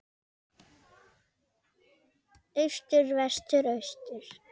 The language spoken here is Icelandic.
Austur Vestur Austur